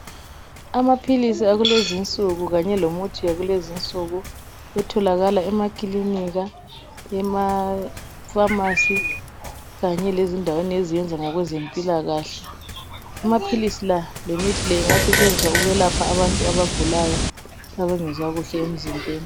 Amaphilisi akulezi nsuku kanye lomuthi yakulezinsuku etholakala emakilinika, emafamasi, kanye lezindaweni eziyenza ngokwezempilakahle. Amaphilisi lawa lemithi leyi ingasetshenziswa ukwelapha abantu abagulayo, abangezwa kuhle emzimbeni.